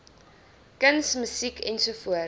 kuns musiek ens